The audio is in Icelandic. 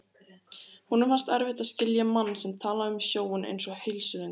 Honum fannst erfitt að skilja mann sem talaði um sjóinn einsog heilsulind.